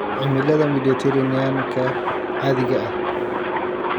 Cimilada Mediterranean-ka caadiga ah